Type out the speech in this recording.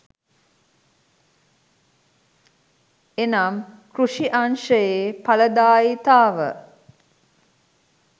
එනම් කෘෂි අංශයේ ඵලදායිතාව